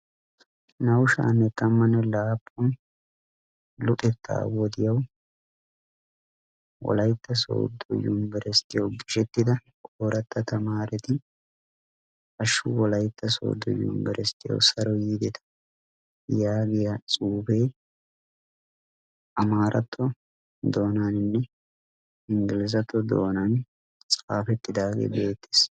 naa'u sha'anne tammane laapun luxetaa wodiyawu wolaytta soodo yunbburusttiya saro yiidetta yaagiya xuufee amaaratto doonan xaafettidaagee beetees.